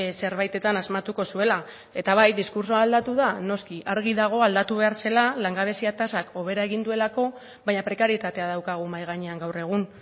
zerbaitetan asmatuko zuela eta bai diskurtsoa aldatu da noski argi dago aldatu behar zela langabezia tasak hobera egin duelako baina prekarietatea daukagu mahai gainean gaur egun